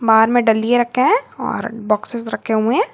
दुकान में डलिये रखे हैं और बॉक्स रखे हैं।